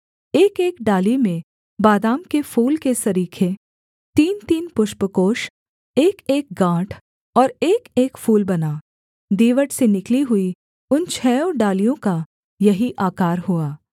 एकएक डाली में बादाम के फूल के सरीखे तीनतीन पुष्पकोष एकएक गाँठ और एकएक फूल बना दीवट से निकली हुई उन छहों डालियों का यही आकार हुआ